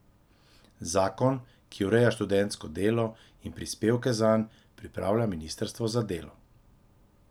Zakon, ki ureja študentsko delo in prispevke zanj, pripravlja ministrstvo za delo.